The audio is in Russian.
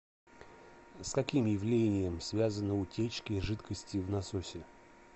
с каким явлением связаны утечки жидкости в насосе